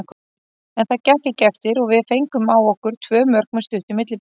En það gekk ekki eftir og við fengum á okkur tvö mörk með stuttu millibili.